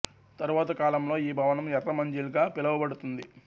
తరువాత కాలంలొ ఈ భవనం ఎర్ర మంజిల్ గ పిలువబడుతుంది